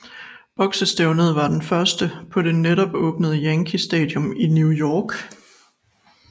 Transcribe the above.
Boksestævnet var det første på det netop åbnede Yankee Stadium i New York